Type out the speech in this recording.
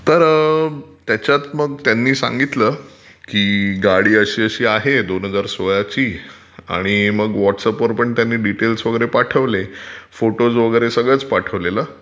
तर त्याच्यात मग त्यांनी सांगितलं की गाडी अशी अशी आहे दोन हजार सोळाची, आणि मग व्हॉटस् ऍपवर पण त्यंनी डिटेल वगैरे पाठवले. फोटोज वगैरे सगळंच पाठवलेलं.